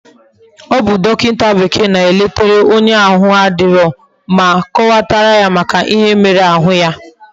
Obu dokinta bekee na eleta onye ahu na adiro, ma kowatara ya Maka ihe mere ahu ya